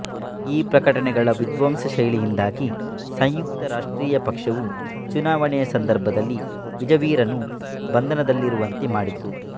ಈ ಪ್ರಕಟಣೆಗಳ ವಿಧ್ವಂಸಕ ಶೈಲಿಯಿಂದಾಗಿ ಸಂಯುಕ್ತ ರಾಷ್ಟ್ರೀಯ ಪಕ್ಷವು ಚುನಾವಣೆಯ ಸಂದರ್ಭದಲ್ಲಿ ವಿಜೆವೀರನು ಬಂಧನದಲ್ಲಿರುವಂತೆ ಮಾಡಿತು